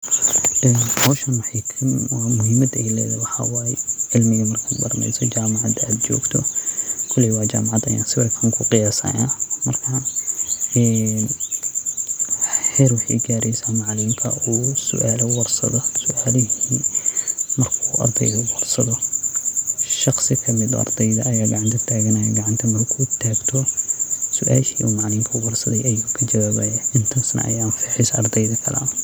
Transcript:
Meeshan muhiimada ey ledahay waaxa waye cilmi marka baraneyso oo jamacada ad jogto kooley wa jamacad sida sawirka kuqayasaya marka heer wexey garen inu macalinka sualo warsado ardeyda shaqsi kamid ah neh uu gacanta tagto oo suasha macalinka weydiye kajawabo.